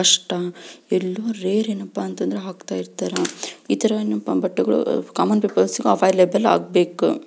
ಅಷ್ಟ ಎಲ್ಲೊ ರೇರ್ ಯೆನಾಪ್ಪ್ಪ ಅಂತ ಅಂದ್ರೆ ಹಾಕ್ತಯಿರ್ತಾರ ಈ ತರ ಏನಪ್ಪಾ ಬಟ್ಟಗಳು ಕಾಮನ್ ಪಿಪಲ್ಸ್ ಗು ಅವೈಲಬಲ್ ಆಗ್ಬೇಕು.